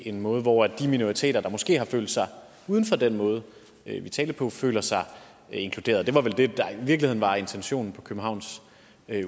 en måde hvor de minoriteter der måske har følt sig uden for den måde vi talte på føler sig inkluderet det var vel det der i virkeligheden var intentionen på københavns